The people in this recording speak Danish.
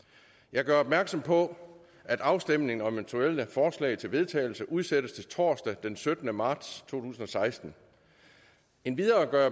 jeg gør opmærksom på at afstemning om eventuelle forslag til vedtagelse udsættes til torsdag den syttende marts to tusind og seksten endvidere gør